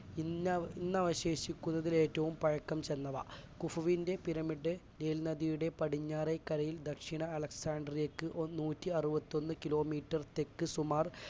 ഇന്ന~ ഇന്നവശേഷിക്കുന്നതിൽ ഏറ്റവും പഴക്കം ചെന്നവ കുഫുവിന്റ്റെ പിരമിഡ് നൈൽ നദിയുടെ പടിഞ്ഞാറേ കരയിൽ ദക്ഷിണ അലക്സാട്രിയക്ക് നൂറ്റിഅറുപത്തിയൊന്ന് kilometre തെക്ക് സുമാർ